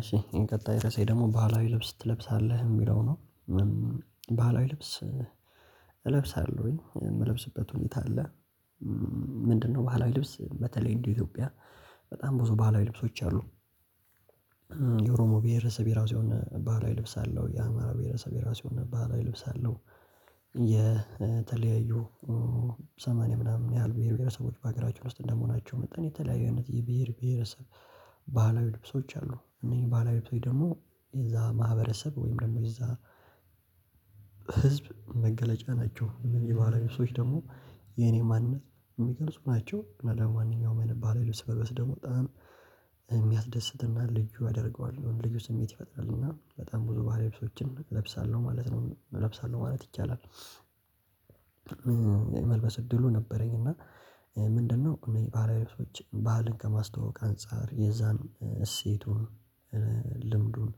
እሺ ቀጣይ ርዕሴ ደግሞ ባህላዊ ልብስ ትለብሳለህ? የሚለው ነው? ባህላዊ ልብስ እለብሳለሁኝ የምለብስበት ሁኔታ አለ። ምንድነው? ባህላዊ ልብስ በተለይ እንደ ኢትዮጵያ በጣም ብዙ ባህላዊ ልብሶች አሉ። የኦሮሞ ብሄርሰብ የራሱ የሆነ ባህላዊ ልብስ አለው የአማራ ብሄረሰብ የሆነ ባህላዊ ልብስ አለው። የተለያዩ ሰማንያ ምናምን ያህል ብሄር ብሄረሰቦች በሀገራችን ውስጥ እንደመሆናቸው መጠን የተለያዩ አይነት የብሄር ብሄረሰብ ባህላዊ ልብሶች አሉ። እነዚህ ባህላዊ ልብሶች ደግሞ እዛ ማህበረሰብ ወይም ደግሞ እዛ ህዝብ መገለጫ ናቸው። የባህላዊ ልብሶች ደግሞ የኔ ማንነት የሚገልጹ ናቸው። እና ደግሞ ማንኛውም አይነት መልበስ ደግሞ በጣም የሚያስደስትና ልዩ ያደርገዋል የሆነ ልዩ ስሜት ይፈጥራል እና በጣም ብዙ ባህላዊ ልብሶችን እለብሳለሁ ማለት ነው እለብሳለሁ ማለት ይቻላል። መልበስ እድሉ ነበረኝ እና ምንድነው እኔ ባህላዊ ልብሶች ባህልን ከማስተዋወቅ አንፃር የዛን እሴቱን ልምዱን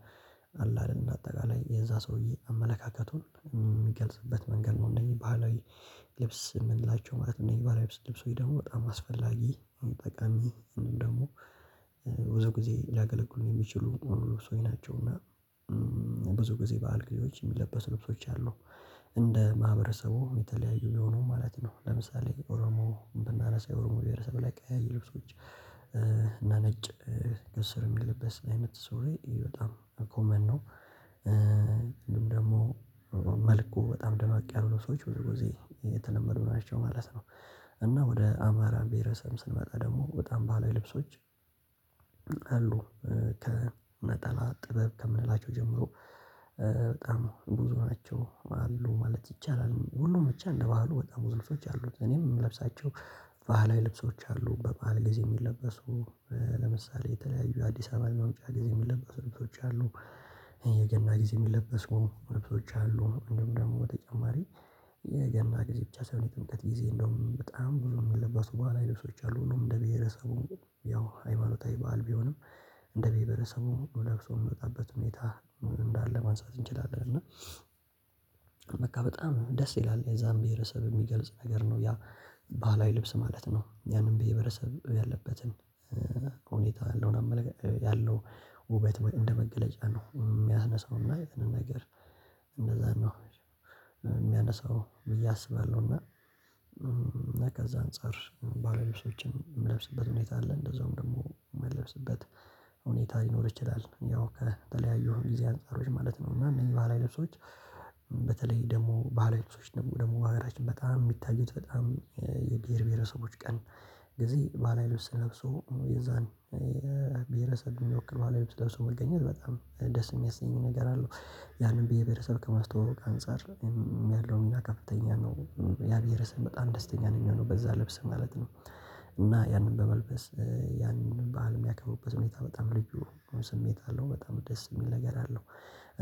አለ አይደል እንደ አጠቃላይ የዛ ሰውዬ አመለካከቱን የሚገልጽበት መንገድ ነው። እነዚህ ባህላዊ ልብስ የምንላቸው ማለት ነው። የባህላዊ ልብስ ልብሶች ደግሞ በጣም አስፈላጊ ጠቃሚ ወይም ደግሞ ብዙ ጊዜ ሊያገለግሉን የሚችሉ ልብሶች ናቸውና። ብዙ ጊዜ በዓል ጊዜዎች የሚለበሱ ልብሶች አሉ። እንደ ማህበረሰቡ የተለያዩ የሆኑ ማለት ነው ለምሳሌ ኦሮሞ ብናነሳ ኦሮሞ ቤሔረሰብ ላይ ቀያይ ልብሶች እና ነጭ ከስር የሚለበስ አይነት ሱሪ በጣም ኮመን ነው። ደግሞ መልኩ በጣም ደመቅ ያሉ ልብሶች ብዙጊዜ የተለመዱ ናቸው ማለት ነው። እና ወደ አማራ ብሄረሰብ ስንመጣ ደግሞ በጣም ባህላዊ ልብሶች አሉ ከነጠላ ጥበብ ከምንላቸው ጀምሮ በጣም ብዙ ናቸው አሉ ማለት ይቻላል። ሁሉም ብቻ እንደ ባህሉ በጣም ልብሶች አሉት እኔም የምለብሳቸው። ባህላዊ ልብሶች አሉ በባዕል ጊዜ የሚለበሱ ለምሳሌ የተለያዩ አዲስ አመት መምጫ ጊዜ የሚለበሱ ልብሶች አሉ። የገና ጊዜ የሚለበሱ ልብሶች አሉ እንዲሁም ደግሞ በተጨማሪ የገና ጊዜ ብቻ ሳይሆን የጥምቀት ጊዜ እንደውም በጣም ብዙ የሚለበሱ ባህላዊ ልብሶች አሉ። እንደ ብሄረሰቡ ያው ሃይማታዊ በዓል ቢሆንም እንደ ብሄር ብሄረሰቡ ለብሶ የሚመጣበት ሁኔታ ምን እንዳለ ማንሳት እንችላለን። እና በቃ በጣም ደስ ይላል የዛን ብሄረሰብ የሚገልጽ ነገር ነው ያ ባህላዊ ልብስ ማለት ነው። ያንን ብሄር ብሄረሰብ ያለበትን ሁኔታ ያለውን አመለካከት ያለው ውበት እንደመገለጫ ነው የሚያነሳው የትኛውም ነገር እንደዛ ነው የሚያነሳው ብዬ አስባለሁና። ከዛ አንፃር ባህላዊ ልብሶችን የምንለብስበት ሁኔታ አለ እንደዛውም ደግሞ የምንለብስበት ሁኔታ ሊኖር ይችላል። ያው ከተለያዩ ጊዜ አንፃሮች ማለት ነው። እና እነዚህ ባህላዊ ልብሶች ልብሶች በተለይ ደግሞ ባለልብሶች ደግሞ በሀገራችን በጣም የሚታዩት በጣም የብሄር ብሄረሰቦች ቀን ጊዜ ባህላዊ ልብስ ለብሶ የዛን የብሄረሰብ የሚወክር ባህላዊ ልብስ ለብሶ መገኘት በጣም ደስ የሚያሰኝ ነገር አለው። ያንን ብሄር ብሄረሰብ ከ ማስተዋወቅ አንፃር ሚያህለው ሚና ከፍተኛ ነው። ያን ብሄረሰብ በጣም ደስተኛ ነው ሚሆነው በዛ ልብስ ማለት ነው። እና ያንን በመልበስ ያንን ባህል የሚያከብበት ሁኔታ በጣም ልዩ ስሜት አለው በጣም ደስ የሚል ነገር አለው።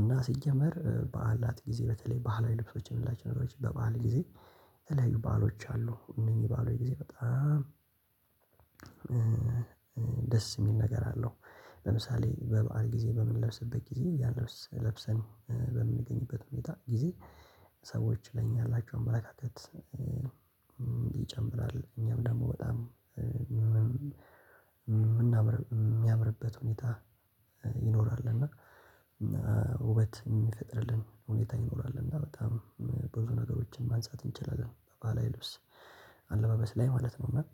እና ሲጀመር በዓላት ጊዜ በተለይ ባህላዊ ልብሶችን የምንላቸው ነገሮች በባህል ጊዜ የተለያዩ ባህሎች አሉ እነኚህ ባህሎች ጊዜ በጣም ደስ የሚል ነገር አለው። ለምሳሌ በበዐል ጊዜ በምንለብስበት ጊዜ ያን ልብስ ለብሰን በምንገኝበት ሁኔታ ጊዜ ሰዎች ለኛ ያላቸው አመለካከት ይጨምራል። እኛም ደግሞ በጣም የ ሚናም ሚያምርበት ሁኔታ ይኖራል እና ውበት የሚፈጥርልን ሁኔታ ይኖራል። እና በጣም ብዙ ነገሮችን ማንሳት እንችላለን ባህላዊ ልብስ አለባበስ ላይ ማለት ነው። ና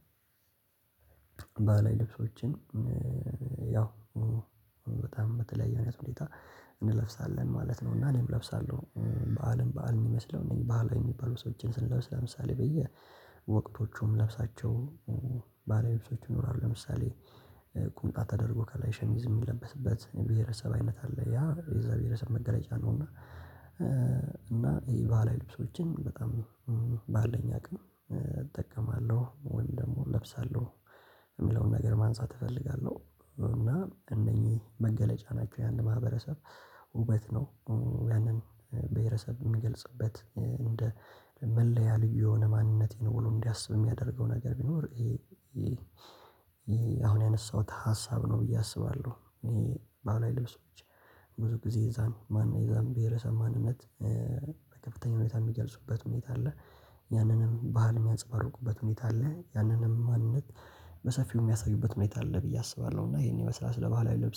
ባህላው ልብሶችን ያው ሁኔታም በተለያየ አይነት ሁኔታ እንለብሳለን ማለት ነው። እና እኔም እለብሳለው ባኣልም ባዓል ሚመስለው እነዚህን ባህላዊ ልብሶችን ስንለብስ ለምሳሌ በየ ወቅቶቹ ምንለብሳቸው ባለቤቶቹም ይኖራሉ ለምሳሌ ቁምጣ ተደርጎ ከላይ ሸሚዝ የሚለብስበት ብሄረሰብ አይነት አለ። ያ የዛን ብሄረሰብ መገለጫ ነው። እና እና ይህ ባህላዊ ልብሶችን በጣም ባለኝ አቅም እጠቀማለው ወይም ደግሞ እለብሳለው እና እነኝህ መገለጫ ናቸው። ያነ ማህበረሰብ ውበት ነው። ያንን ብሄረሰብ ሚገልጽበት እንደ መለያ ልዩ የሆነ ማንነት ነው። ብሎ እንዲያስቡ የሚያደርገው ነገር ቢኖር አሁን ያነሳሁት ሀሳብ ነው ብዬ አስባለሁ። ይሄ ባህላዊ ልብሶች ብዙ ጊዜ የዛን ማን የዛን ብሄረሰብ ማንነት በከፍተኛ ሁኔታ የሚገልጹበት ሁኔታ አለ። ያንንም ባህል የሚያጸባርቁበት ሁኔታ አለ። ያንንም ማንነት በሰፊው የሚያሳዩበት ሁኔታ አለ ብዬ አስባለሁ። እና ይሄን ይመስላል ስለ ባህላዊ ልብስ